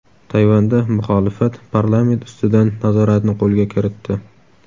Tayvanda muxolifat parlament ustidan nazoratni qo‘lga kiritdi.